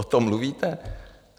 O tom mluvíte?